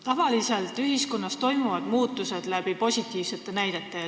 Tavaliselt toimuvad ühiskonnas muutused positiivsete näidete abil.